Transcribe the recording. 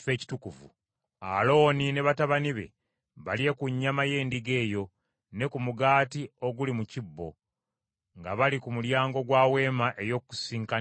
Alooni ne batabani be balye ku nnyama y’endiga eyo, ne ku mugaati oguli mu kibbo, nga bali ku mulyango gwa Weema ey’Okukuŋŋaanirangamu.